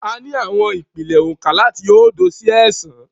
A ní àwọn ìpìlẹ̀ oǹkà láti oódo sí ẹẹ́sàn-án.